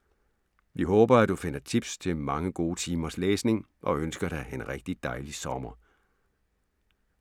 Vi håber, at du finder tips til mange gode timers læsning, og ønsker dig en rigtig dejlig sommer.